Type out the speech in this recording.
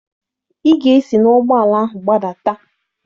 Ị ga-esi n'ụgbọala ahụ gbadata!